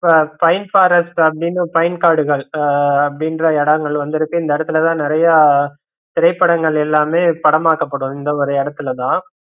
இப்ப pine forest அப்படின்னு pine காடுகள் அஹ் அப்படின்ற எடங்கள் வந்து இருக்கு இந்த இடத்துலதான் நிறைய திரைப்படங்கள் எல்லாமே படமாக்கப்படும் இந்த ஒரு இடத்துலதான்